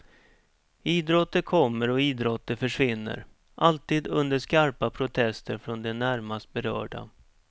Idrotter kommer och idrotter försvinner, alltid under skarpa protester från de närmast berörda.